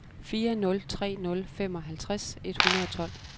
fire nul tre nul femoghalvtreds et hundrede og tolv